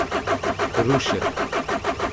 Ruše.